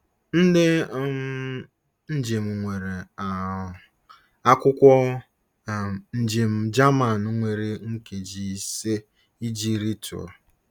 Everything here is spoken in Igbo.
Ndị um njem nwere um akwụkwọ um njem Jaman nwere nkeji ise iji rịtuo.